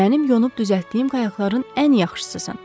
Mənim yonub düzəltdiyim qayaqların ən yaxşısısan.